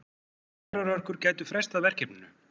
Vetrarhörkur gætu frestað verkefninu.